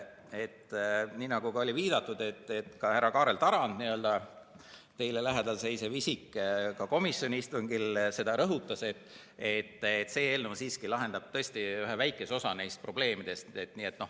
Nii nagu oli viidatud, ka härra Kaarel Tarand, teile lähedal seisev isik, komisjoni istungil seda rõhutas, et see eelnõu siiski lahendab tõesti ühe väikese osa neist probleemidest.